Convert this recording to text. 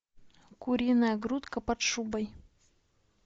куриная грудка под шубой